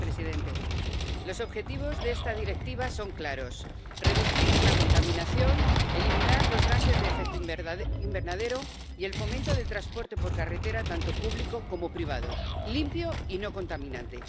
Señor presidente, los objetivos de esta Directiva son claros reducir la contaminación, eliminar los gases de efecto invernadero y el fomento del transporte por carretera, tanto público como privado, limpio y no contaminante.